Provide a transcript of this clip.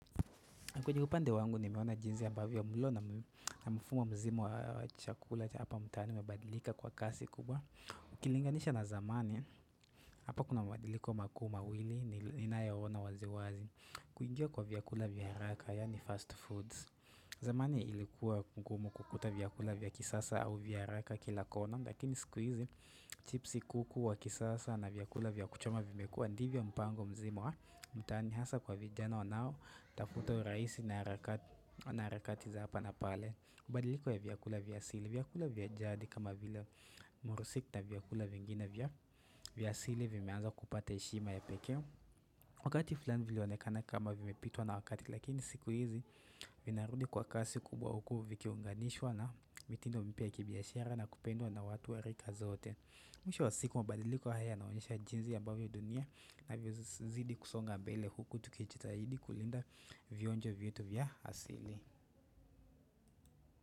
Kwenye upande wangu nimeona jinzi ambavyo mlo na mfumo mzima wa chakula hapa mtaani umebadilika kwa kasi kubwa. Ukilinganisha na zamani, hapa kuna madiliko makuu mawili ni nina yoona waziwazi kuingia kwa vyakula vya haraka yaani fast foods. Zamani ilikuwa kugumu kukuta vyakula vya kisasa au vya haraka kila kona. Lakini siku hizi, chipsi kuku wa kisasa na vyakula vya kuchoma vimekuwa Ndivyo mpango mzima, mtaani hasa kwa vijana wanao Tafuta uraisi na na harakati za hapa na pale Badiliko ya vyakula vya sili, vyakula vya jadi kama vile murusik na vyakula vingine vya vya asili vimeanza kupata heshima ya pekee Wakati fulani vilionekana kama vimepitwa na wakati Lakini siku hizi, vinarudi kwa kasi kubwa huku vikiunganishwa na mitindo mpya ya kibiashara na kupendwa na watu wa rika zote Mwisho wa siku mabadiliko haya yanaonyesha jinzi ambavyo dunia na vyo zidi kusonga mbele huku tukijita hidi kulinda vionjo vyetu vya asili.